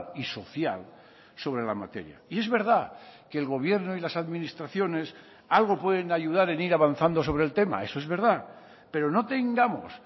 y social sobre la materia y es verdad que el gobierno y las administraciones algo pueden ayudar en ir avanzando sobre el tema eso es verdad pero no tengamos